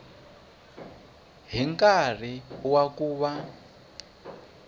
hi nkarhi wa ku va